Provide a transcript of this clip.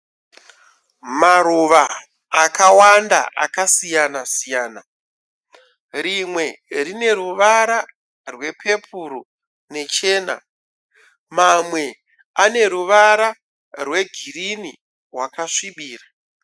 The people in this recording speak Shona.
Maruva akawanda akasiyana siyana. Rimwe rine ruvara rwepepuru nechena. Mamwe ane ruvara rwegirini rwakasvibira.